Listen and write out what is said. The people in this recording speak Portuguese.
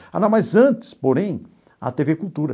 Ah, não, mas antes, porém, a tê vê Cultura.